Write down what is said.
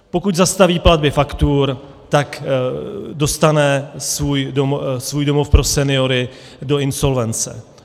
Pokud zastaví platby faktur, tak dostane svůj domov pro seniory do insolvence.